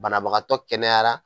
Banabagatɔ kɛnɛyara